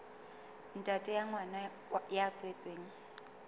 ntate wa ngwana ya tswetsweng